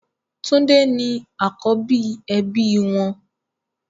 Tunde ni àkọ́bí ẹbí wọn